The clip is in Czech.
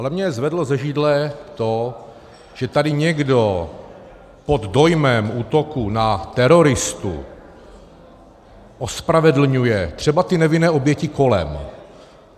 Ale mě zvedlo ze židle to, že tady někdo pod dojmem útoku na teroristu ospravedlňuje třeba ty nevinné oběti kolem.